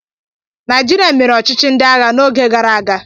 Naijirịa mere ọchịchị ndị agha n'oge gara aga